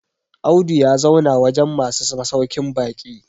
Audu ya zauna wajen masu masaukin baki